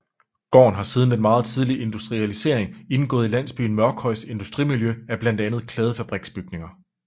Gården har siden den meget tidlige industrialisering indgået i landsbyen Mørkhøjs industrimiljø af blandt andet klædefabriksbygninger